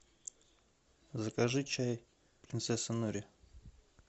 закажи чай принцесса нури